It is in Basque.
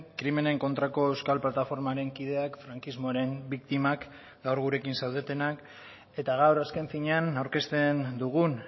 krimenen kontrako euskal plataformaren kideak frankismoaren biktimak gaur gurekin zaudetenak eta gaur azken finean aurkezten dugun